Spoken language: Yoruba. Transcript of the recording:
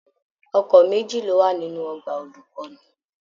Ọkọ méjì ló wà nínú ọgbà olukọni.